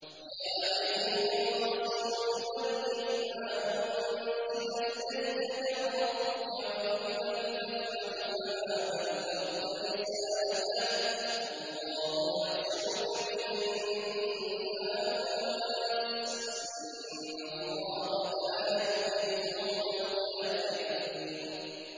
۞ يَا أَيُّهَا الرَّسُولُ بَلِّغْ مَا أُنزِلَ إِلَيْكَ مِن رَّبِّكَ ۖ وَإِن لَّمْ تَفْعَلْ فَمَا بَلَّغْتَ رِسَالَتَهُ ۚ وَاللَّهُ يَعْصِمُكَ مِنَ النَّاسِ ۗ إِنَّ اللَّهَ لَا يَهْدِي الْقَوْمَ الْكَافِرِينَ